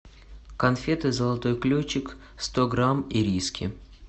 конфеты золотой ключик сто грамм ириски